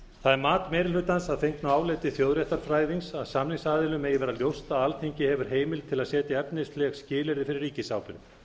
það er mat meiri hlutans að fengnu áliti þjóðréttarfræðings að samningsaðilum megi vera ljóst að alþingi hefur heimild til að setja efnisleg skilyrði fyrir ríkisábyrgð